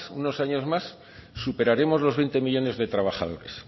unos años más superaremos los veinte millónes de trabajadores